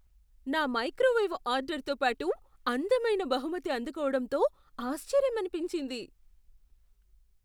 నా మైక్రోవేవ్ ఆర్డర్తో పాటు అందమైన బహుమతి అందుకోవడంతో ఆశ్చర్యమనిపించింది.